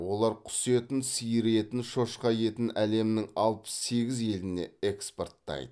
олар құс етін сиыр етін шошқа етін әлемнің алпыс сегіз еліне экспорттайды